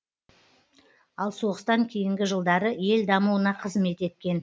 ал соғыстан кейінгі жылдары ел дамуына қызмет еткен